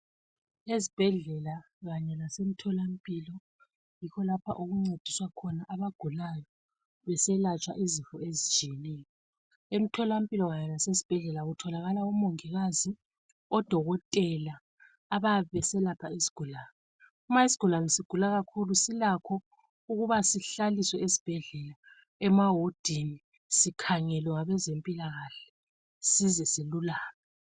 Ezibhedlela kanye lasemtholampilo yikho lapho okuncediswa khona abagulayo, beselatshwa izinto ezitshiyeneyo. Emtholampilo lasesibhedlela kutholakala omongikazi ,odokotela, abayabe beselapha isigulane. Uma isigulane sigula kakhulu silakho ukuba sihlaliswe esibhedlela emahodini, sikhangelwe ngabezempilakahle size silulame.